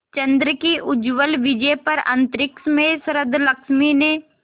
चंद्र की उज्ज्वल विजय पर अंतरिक्ष में शरदलक्ष्मी ने